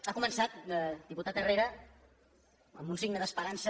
ha començat diputat herrera amb un signe d’esperança